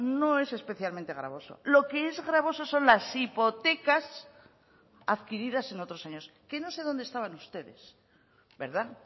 no es especialmente gravoso lo que es gravoso son las hipotecas adquiridas en otros años que no sé dónde estaban ustedes verdad